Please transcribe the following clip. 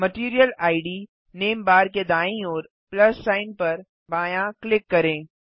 material ID name bar के दाईं ओर प्लस सिग्न पर बायाँ क्लिक करें